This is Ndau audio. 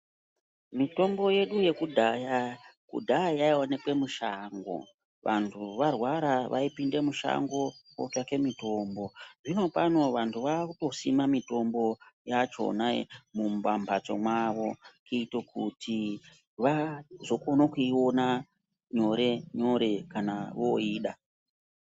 Mitombo yedu yekudhaya kudhaya yaionekwe mushango. Vantu varwara vaipinde mushango votsvake mitombo. Zvino pano vantu vakutosima mitombo yachona pambatso pavo kuite kuti vazokono kuiona nyore nyore kana voida.